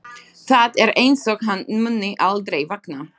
Það er einsog hann muni aldrei vakna.